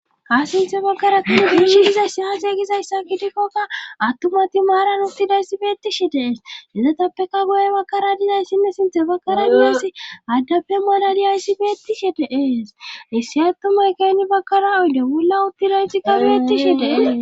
kasinthe bakkara tudu giiishi hizaysi aaxeeygizayssa kidikkokka attumati maaran uttidayssi beettishi dees izatappeka goye bakkara dizayssinne sinthe bakkara dizayssi aaddappe malali ayssi beettishi deees issi attumay keynni bakkara uyde wulla uttidaytikka beettishi dees